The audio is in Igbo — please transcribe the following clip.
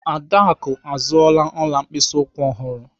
Adaku azụọla ọla mkpịsị ụkwụ ọhụrụ.